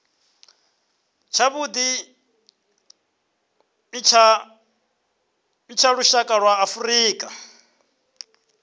tshavhuḓi tsha lushaka lwa afrika